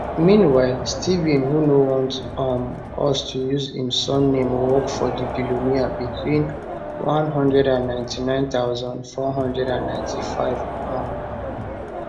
meanwhile steve who no want um us to use im surname work for di billionaire between 199495 um